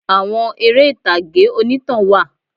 Àwọn eré ìtàgé onítàn wà